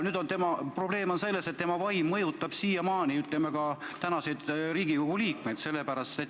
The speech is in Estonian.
Nüüd on probleem selles, et tema vaim mõjutab siiamaani ka tänaseid Riigikogu liikmeid.